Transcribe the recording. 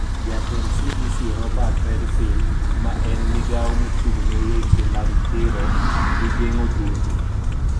Jatend CDC Robert Redfield, ma en migawo mochung ne weche mag thiro gi geng`o tuoche